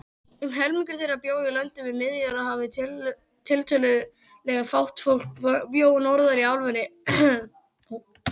Um helmingur þeirra bjó í löndum við Miðjarðarhafið, tiltölulega fátt fólk bjó norðar í álfunni.